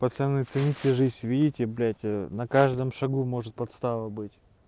пацаны цените жизнь видите блять ээ на каждом шагу может подстава быть